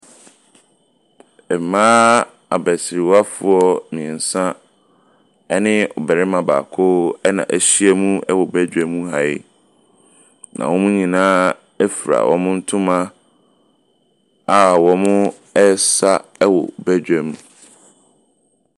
Mmaa abasirwafoɔ mmiɛnsa ne barima baako na ahyia mu ha wɔ badwam ha yi, na wɔn nyinaa fura wɔn ntoma a wɔresa wɔ badwam.